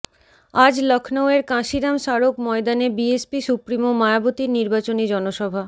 আজ লখনউয়ের কাঁসিরাম স্মারক ময়দানে বিএসপি সুপ্রিমো মায়াবতীর নির্বাচনী জনসভা